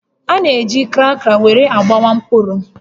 A na-eji kraka were agbawa mkpụrụ